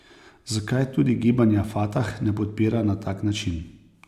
Zakaj tudi gibanja Fatah ne podpira na tak način?